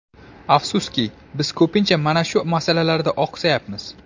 Afsuski, biz ko‘pincha mana shu masalalarda oqsayapmiz.